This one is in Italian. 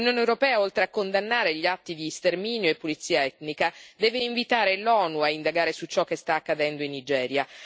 L'Unione europea, oltre a condannare gli atti di sterminio e pulizia etnica, deve invitare l'ONU a indagare su ciò che sta accadendo in Nigeria.